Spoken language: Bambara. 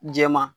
Jɛma